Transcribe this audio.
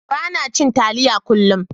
Bana cin taliya kullum.